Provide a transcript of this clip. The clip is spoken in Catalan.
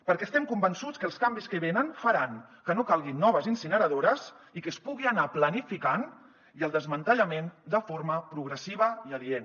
perquè estem convençuts que els canvis que venen faran que no calguin noves incineradores i que se’n pugui anar planificant el desmantellament de forma progressiva i adient